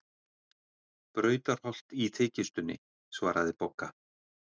Brautarholt í þykjustunni, svaraði Bogga.